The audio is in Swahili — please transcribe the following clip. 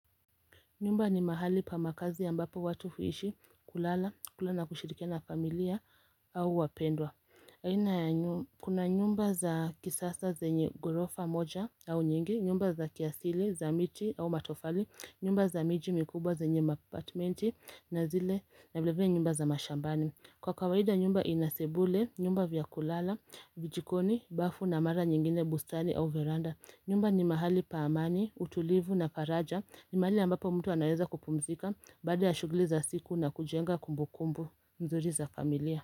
Nyumba ni mahali pa makazi ya mbapo watu huishi kulala, kula kushirikia na familia au wapendwa Kuna nyumba za kisasa zenye gorofa moja au nyingi, nyumba za kiasili, zamiti au matofali, nyumba za miji mikubwa zenye mapatmenti na zile na vileve nyumba za mashambani Kwa kawahida nyumba inasebule, nyumba vya kulala, vijikoni, bafu na mara nyingine butanu au veranda nyumba ni mahali paamani, utulivu na faraja, ni mahali ambapo mtu anayeza kupumzika, bada ya shuguli za siku na kujenga kumbukumbu nzuri za familia.